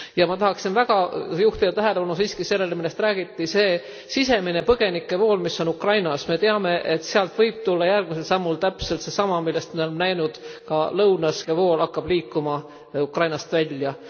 Ma tahaksin väga juhtida tähelepanu siiski sellele, millest räägiti see sisemine põgenike vool, mis on Ukrainas. Me teame, et sealt võib tulla järgmisel sammult täpselt seesama, mida me oleme näinud ka lõunas et põgenikevool hakkab liikuma Ukrainast välja.